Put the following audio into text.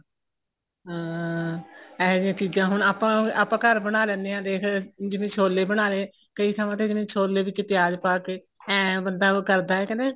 ਅਹ ਇਹੋ ਜੀਆਂ ਚੀਜ਼ਾਂ ਹੁਣ ਆਪਾਂ ਆਪਾਂ ਘਰ ਬਣਾ ਲੈਂਨੇ ਆ ਦੇਖ ਜਿਵੇਂ ਛੋਲੇ ਬਣਾ ਲੈ ਕਈ ਥਾਵਾਂ ਤੇ ਕਹਿੰਦੇ ਛੋਲੇ ਵਿੱਚ ਪਿਆਜ ਪਾਤੇ ਇਹ ਬੰਦਾ ਉਹ ਕਰਦਾ ਕਹਿੰਦੇ